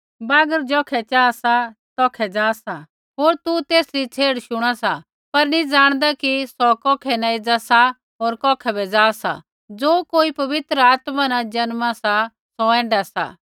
बागर ज़ौखै चाहा सा तौखै जा सा होर तू तेसरी छेड़ शुणा सा पर नी जाणदा कि सौ कौखै न एज़ा सा होर कौखै बै जा सा ज़ो कोई पवित्र आत्मा न जन्मा सा सौ ऐण्ढा सा